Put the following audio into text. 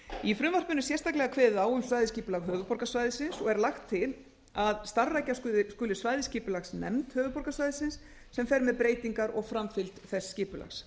í frumvarpinu er sérstaklega kveðið á um svæðisskipulag höfuðborgarsvæðisins og er lagt til að starfrækja skuli svæðisskipulagsnefnd höfuðborgarsvæðisins sem fer með breytingar og framfylgd þess skipulags